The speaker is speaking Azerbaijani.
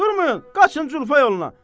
Durmayın, qaçın Culfa yoluna!